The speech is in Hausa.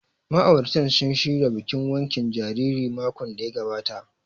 Ma'auratan sun shirya bikin wankin jaririn makon da ya gabata